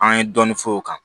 An ye dɔɔni fɔ o kan